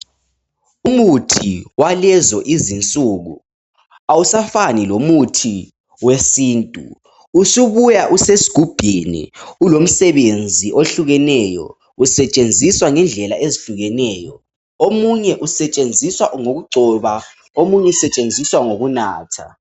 Umuthi walezo izinsuku ,awusafani lomuthi wesintu. Usubuya usesigubhini ,ulomsebenzi ohlukeneyo , usetshenziswa ngendlela ezihlukeneyo. Omunye usetshenziswa ngokugcoba omunye usetshenziswa ngokunatha.